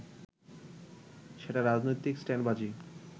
সেটা রাজনৈতিক স্টান্টবাজি